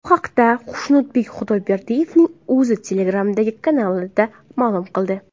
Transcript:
Bu haqda Xushnudbek Xudoyberdiyevning o‘zi Telegram’dagi kanalida ma’lum qildi.